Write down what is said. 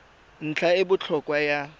ntlha e e botlhokwa ya